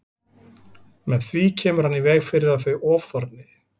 Með því kemur hann í veg fyrir að þau ofþorni.